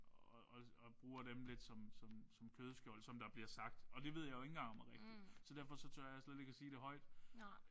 Og og og bruger dem lidt som som som kødskjold som der bliver sagt. Og det ved jeg jo ikke engang om er rigtigt så derfor så tør jeg ikke en gang sige det højt